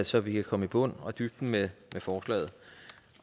så vi kan komme i bund og i dybden med forslaget